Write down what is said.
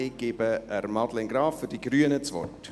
Ich gebe Madeleine Graf für die Grünen das Wort.